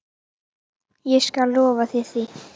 Ég skal lofa þér því.